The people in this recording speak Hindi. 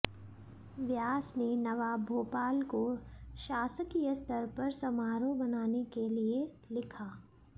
व्यास ने नवाब भोपाल को शासकीय स्तर पर समारोह मनाने के लिए लिखा